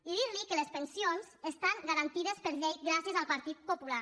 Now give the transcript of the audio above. i dir li que les pensions estan garantides per llei gràcies al partit popular